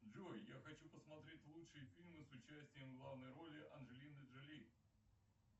джой я хочу посмотреть лучшие фильмы с участием в главной роли анджелины джоли